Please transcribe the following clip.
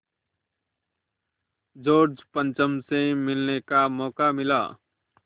George पंचम से मिलने का मौक़ा मिला